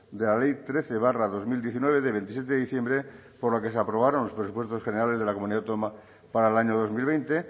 diez de la ley trece barra dos mil diecinueve de veintisiete de diciembre por la que se aprobaron los presupuestos generales de la comunidad autónoma para el año dos mil